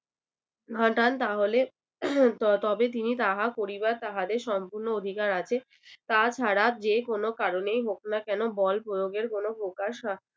ঘটান তাহলে তবে তিনি তাহা করিবার তাহাদের সম্পূর্ণ অধিকার আছে। তাছাড়া যে কোন কারণেই হোক না কেন বল প্রয়োগের কোনো প্রকাশ